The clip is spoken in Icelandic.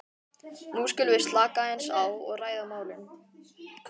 nú skulum við slaka aðeins á og ræða málin.